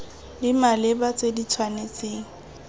di maleba tse di tshwanetseng